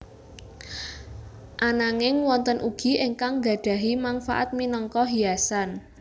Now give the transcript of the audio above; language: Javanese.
Ananging wonten ugi ingkang nggadhahi mangfaat minangka hiasan